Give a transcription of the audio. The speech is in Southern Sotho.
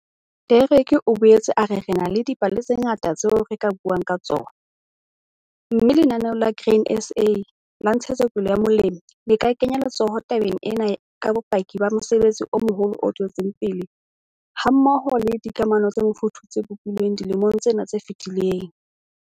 Derek o boetse a re re na le dipale tse ngata tseo re ka buang ka tsona, mme Lenaneo la Grain SA la Ntshetsopele ya Molemi le ka kenya letsoho tabeng ena ka bopaki ba mosebetsi o moholo o tswetseng pele hammoho le dikamano tse mofuthu tse bopilweng dilemong tsena tse fetileng.